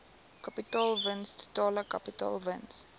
kapitaalwins totale kapitaalwins